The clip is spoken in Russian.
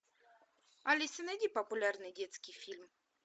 алиса найди популярный детский фильм